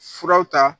Furaw ta